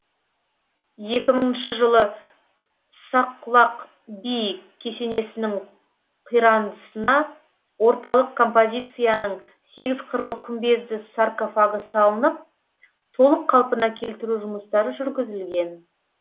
екімыңыншы жылы саққұлақ би кесенесінің қирандысына орталық композицияның сегізқырлы күмбезді саркофагы салынып толық қалпына келтіру жұмыстары жүргізілген